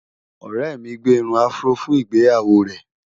ọrẹ mí gbé irún afro fún ìgbéyàwó rè